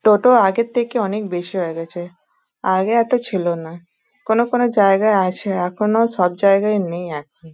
টোটো আগের থেকে অনেক বেশি হয়ে গেছে আগে এতো ছিল না। কোনো কোনো জায়গায় আছে এখনো সব জায়গায় নেই এখন।